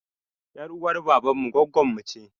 Ƴar uwar baban mu gwaggonmu ce